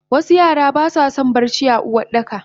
wasu Yara baswason barci a Uwardakaba